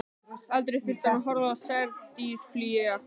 Aldrei þurfti hann að horfa á særð dýr flýja.